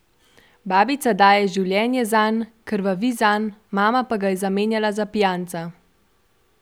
Babica daje življenje zanj, krvavi zanj, mama pa ga je zamenjala za pijanca.